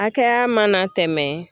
Hakɛya mana tɛmɛ